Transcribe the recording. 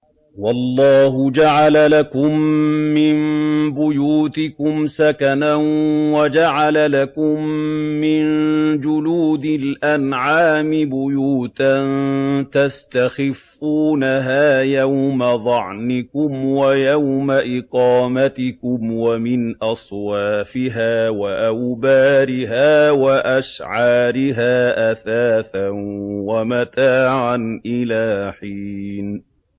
وَاللَّهُ جَعَلَ لَكُم مِّن بُيُوتِكُمْ سَكَنًا وَجَعَلَ لَكُم مِّن جُلُودِ الْأَنْعَامِ بُيُوتًا تَسْتَخِفُّونَهَا يَوْمَ ظَعْنِكُمْ وَيَوْمَ إِقَامَتِكُمْ ۙ وَمِنْ أَصْوَافِهَا وَأَوْبَارِهَا وَأَشْعَارِهَا أَثَاثًا وَمَتَاعًا إِلَىٰ حِينٍ